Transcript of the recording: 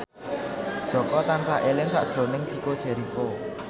Jaka tansah eling sakjroning Chico Jericho